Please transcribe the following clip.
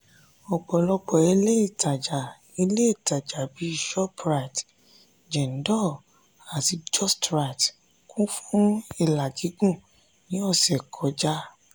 ọ̀pọ̀lọpọ̀ ilé ìtàjà ilé ìtàjà bíi shoprite jendol àti justrite kun fún ilà gígùn ní ọ̀sẹ̀ kọjá.